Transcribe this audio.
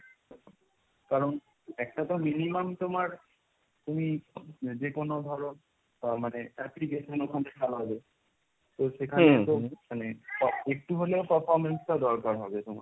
কারণ একটা তো minimum তোমার তুমি যে কোন ধরো মানে application ওর মধ্যে খেলাবে, তো সেখানে তো মানে একটু হলেও performance টা দরকার হবে তোমার।